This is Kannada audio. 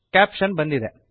ಕ್ಯಾಪಶನ್ ಬಂದಿದೆ